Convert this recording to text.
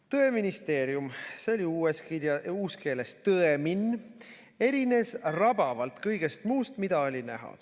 "Tõeministeerium – uuskeeles Tõmin – erines rabavalt kõigest muust, mida oli näha.